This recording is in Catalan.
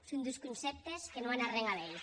son dus concèptes que non an arren a veir